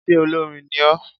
Sé olórin ní o?